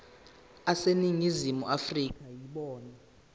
aseningizimu afrika yibona